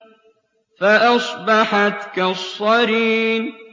فَأَصْبَحَتْ كَالصَّرِيمِ